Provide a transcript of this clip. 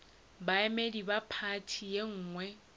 baemedi ba phathi ye nngwe